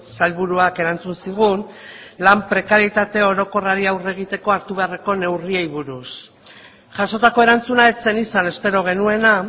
sailburuak erantzun zigun lan prekaritate orokorrari aurre egiteko hartu beharreko neurriei buruz jasotako erantzuna ez zen izan espero genuena